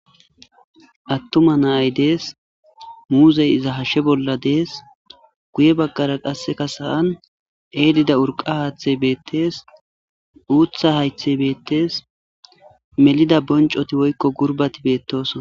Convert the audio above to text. Attuma nay dees muuzey iza hashshe bolla dees guye baggara qasseka sa'an eelida urqa haaththe beettes uutha haythe beettes melida boncoti woykko gurbati beettosona